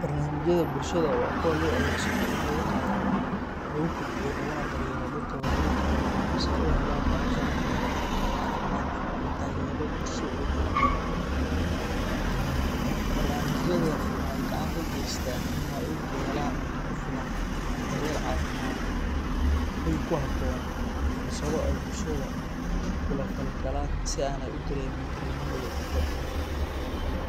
Barnaamijyada bulshada waa kuwa loo adeegsado in lagu taageero, lagu kobciyo, laguna daryeelo dadka waayeelka ah si ay u helaan nolol sharaf leh, caafimaad qaba, iyo taageero bulsho oo joogto ah. Barnaamijyadani waxa ay gacan ka geystaan in waayeelku helaan cunto ku filan, daryeel caafimaad, hoy ku habboon, iyo fursado ay bulshada kula falgalaan si aanay u dareemin kalinimo iyo cidlo.